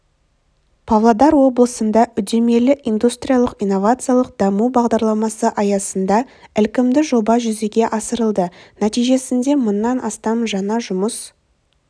павлодар облысында үдемелі индустриялық-инновациялық даму бағдарламасы аясында ілкімді жоба жүзеге асырылды нәтижесінде мыңнан астам жаңа жұмыс